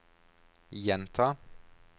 gjenta